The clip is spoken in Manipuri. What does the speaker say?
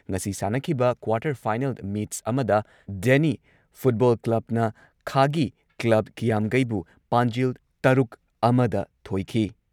ꯉꯁꯤ ꯁꯥꯟꯅꯈꯤꯕ ꯀ꯭ꯋꯥꯔꯇꯔ ꯐꯥꯏꯅꯦꯜ ꯃꯦꯆ ꯑꯃꯗ ꯗꯦꯅꯤ ꯐꯨꯠꯕꯣꯜ ꯀ꯭ꯂꯕꯅ ꯈꯥꯒꯤ ꯀ꯭ꯂꯕ ꯀ꯭ꯌꯥꯝꯒꯩꯕꯨ ꯄꯥꯟꯖꯤꯜ ꯇꯔꯨꯛ ꯑꯃꯗ ꯊꯣꯏꯈꯤ ꯫